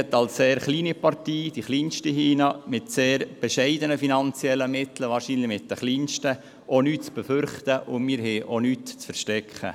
Als sehr kleine Partei, als kleinste hier drin, mit bescheidenen finanziellen Mitteln, wahrscheinlich sogar den geringsten, haben wir nichts zu befürchten und auch nichts zu verstecken.